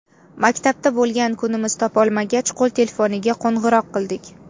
Maktabda bo‘lgan kunimiz topolmagach, qo‘l telefoniga qo‘ng‘iroq qildik.